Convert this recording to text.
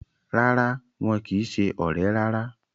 Rárá, wọn kìí se ọ̀rẹ́ rárá